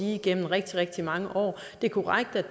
igennem rigtig rigtig mange år det er korrekt at